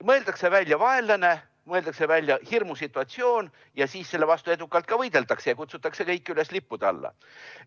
Mõeldakse välja vaenlane, mõeldakse välja hirmusituatsioon ja siis selle vastu edukalt ka võideldakse ja kutsutakse kõiki üles lippude alla.